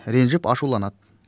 ренжіп ашуланады